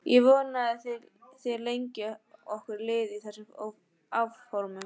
Ég vona að þér leggið okkur lið í þeim áformum.